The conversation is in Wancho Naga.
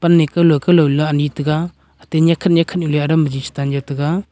wan ne kaulo kaulo ani tega atte nekkhat nekkhat nu le adam biji che tan ja taga.